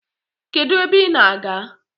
Kedu ebe I na- aga?